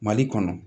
Mali kɔnɔ